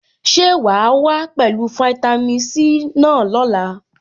Ṣé wàá wá pẹ̀lú fitami C náà lọ́la?